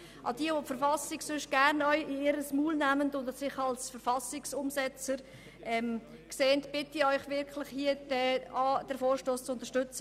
Also bitte ich doch diejenigen, welche sonst jeweils gerne die Verfassung anführen und sich als Verfassungsumsetzer sehen, den Vorstoss zu unterstützen.